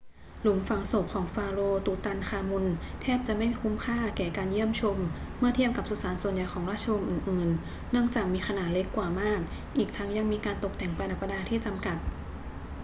หลุมฝังศพของฟาโรห์ตุตันคามุนแทบจะไม่คุ้มค่าแก่การเยี่ยมชมเมื่อเทียบกับสุสานส่วนใหญ่ของราชวงศ์อื่น ๆ เนื่องจากมีขนาดเล็กกว่ามาก อีกทั้งยังมีการตกแต่งประดับประดาที่จำกัด